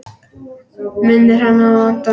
Minnir hana á Anton!